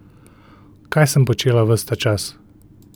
Kaj sem počela ves ta čas?